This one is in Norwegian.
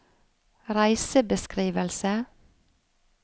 reisebeskrivelse